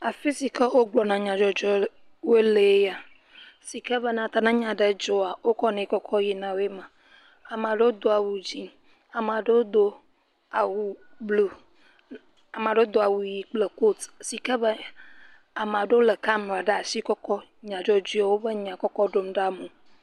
Afi si ke wogblɔna nyadzɔdzɔwo lee ya, si ke be ne nya ɖe dzɔa, wokɔnɛ kɔ yinae ma, amea ɖewo do dzɛ̃, amea ɖewo do wu blu, amea ɖewo do awu ʋɛ̃ kple kot si ke be amea ɖewo kɔ kamɛra le kɔ kɔ nyadzɔdzɔe wobe nya kɔ kɔ ɖom ɖa amewo.